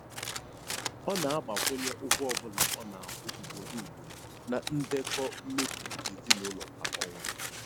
Ọ na-agbakwunye ụgwọ ọbụla a na-akwụ ugboro ugboro na ndekọ mmefu nke ezinụụlọ kwa ọnwa.